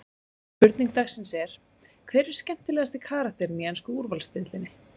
Spurning dagsins er: Hver er skemmtilegasti karakterinn í ensku úrvalsdeildinni?